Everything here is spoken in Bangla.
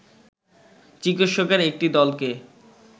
চিকিৎসকের একটি দলকে